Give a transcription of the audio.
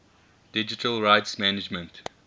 digital rights management